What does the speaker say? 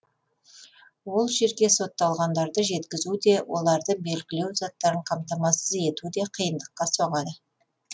ол жерге сотталғандарды жеткізу де оларды белгілеу заттарын қамтамасыз ету де қиындыққа соғады